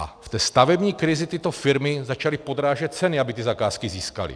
A v té stavební krizi tyto firmy začaly podrážet ceny, aby ty zakázky získaly.